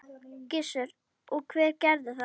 Gissur: Og hver gerði það?